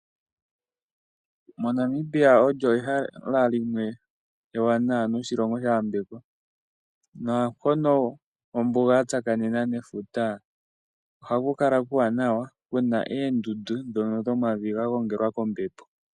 MoNamibia olyo ehala limwe ewaanawa noshilongo sha yambekwa naampono ombuga yatsakanena nefuta ohaku kala kuuwanawa kuna oondundu dhomavi ngono ga gongelwa koombepo.